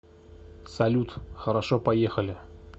салют хорошо поехали